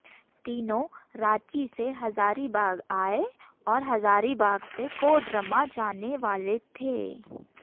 तीनों रांची से हजारीबाग आए और हजारीबाग से कोडरमा जाने वाले थे